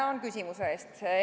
Tänan küsimuse eest!